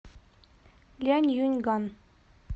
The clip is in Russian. ляньюньган